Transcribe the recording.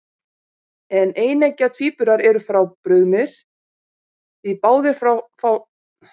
En eineggja tvíburar eru frábrugðnir, því báðir fá sama erfðamengi frá hinu frjóvgaða eggi.